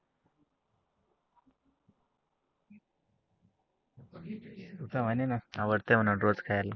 तू तर म्हणे आवडते मला रोज खायला.